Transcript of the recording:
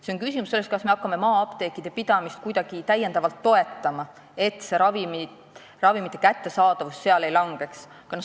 See on küsimus sellest, kas me hakkame maa-apteekide pidamist kuidagi veel toetama, et ravimimüük seal ei langeks.